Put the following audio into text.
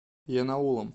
янаулом